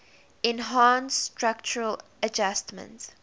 enhanced structural adjustment